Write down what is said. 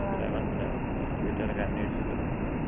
മനസിലായി മനസിലായി വീട്ടുകാരൊക്ക അന്വേഷിച്ചു വരുന്ന. കഥ എനിക്കറിയാം.